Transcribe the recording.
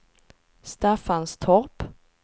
Staffanstorp